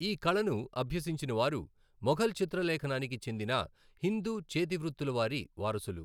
ఈ కళను అభ్యసించినవారు మొఘల్ చిత్రలేఖనానికి చెందిన హిందూ చేతివృత్తుల వారి వారసులు.